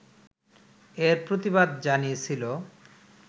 এর প্রতিবাদ জানিয়েছিল